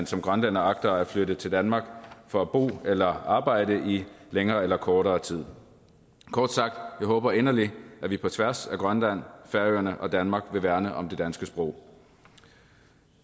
som grønlænder agter at flytte til danmark for at bo eller arbejde i længere eller kortere tid kort sagt jeg håber inderligt at vi på tværs af grønland færøerne og danmark vil værne om det danske sprog